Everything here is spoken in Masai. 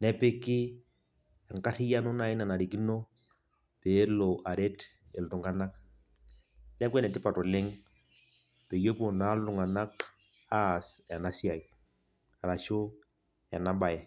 nepiki enkarriyiano nai nanarikino peelo aret iltung'anak. Neeku enetipat oleng peyie epuo naa iltung'anak aas enasiai, arashu enabae.